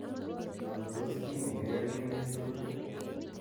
Ako tos tinyekei ak emet tugul?.